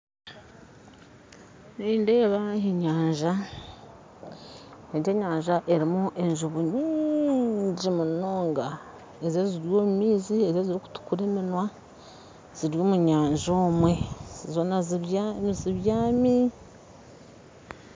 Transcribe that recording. Nindeeba enyanja egi enyanja erimu ejuubu nyingi munonga ezo eziri omu maizi ezo ezirikutukura eminwa ziri omu nyanja omwe zoona zibyami